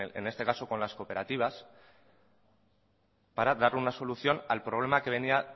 en este caso con las cooperativas para dar una solución al problema que venía